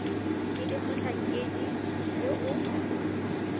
e leng motlhankedi yo o